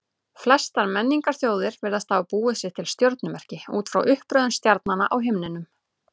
Flestar menningarþjóðir virðast hafa búið sér til stjörnumerki út frá uppröðun stjarnanna á himninum.